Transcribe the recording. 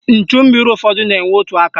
Nchummiri ụfọdụ na-enwe otu aka.